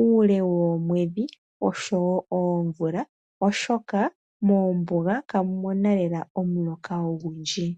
uule woomwedhi oshowo oomvula oshoka moombuga ka mu mona lela omuloka ogundji.